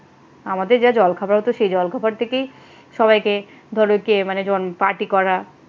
আমাদের যা জলখাবার হতো সেই জলখাবার থেকেই সবাইকে ধরো কে যেমন party করা